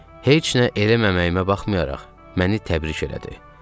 Heç nə eləməməyimə baxmayaraq, məni təbrik elədi.